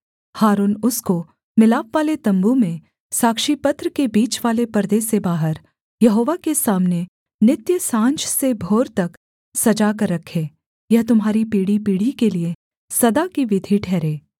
हारून उसको मिलापवाले तम्बू में साक्षीपत्र के बीचवाले पर्दे से बाहर यहोवा के सामने नित्य साँझ से भोर तक सजा कर रखे यह तुम्हारी पीढ़ीपीढ़ी के लिये सदा की विधि ठहरे